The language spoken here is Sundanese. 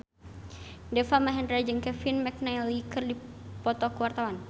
Deva Mahendra jeung Kevin McNally keur dipoto ku wartawan